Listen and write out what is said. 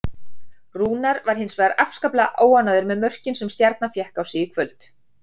Rúnar var hins vegar afskaplega óánægður með mörkin sem Stjarnan fékk á sig í kvöld.